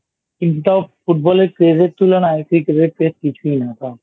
কিন্তু তাও Football এর Phase এর তুলনায় Cricket এর Phase কিছুই না